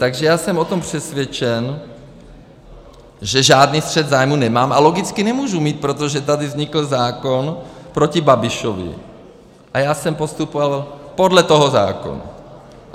Takže já jsem o tom přesvědčen, že žádný střet zájmů nemám a logicky nemůžu mít, protože tady vznikl zákon proti Babišovi a já jsem postupoval podle toho zákona.